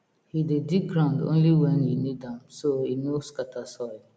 he dey dig ground only when e need am so e no scatter soil